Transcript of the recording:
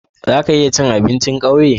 Zaka iya cin abincin kauye?